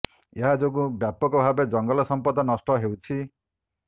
ଏହା ଯୋଗୁଁ ବ୍ୟାପକ ଭାବେ ଜଙ୍ଗଲ ସଂପଦ ନଷ୍ଟ ହେଉଛି